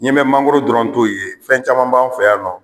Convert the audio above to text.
I ɲɛ bɛ mangoro dɔrɔn t'o ye fɛn caman b'an fɛ yan nɔ